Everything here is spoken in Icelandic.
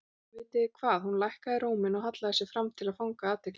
Vitið þið hvað. Hún lækkaði róminn og hallaði sér fram til að fanga athygli þeirra.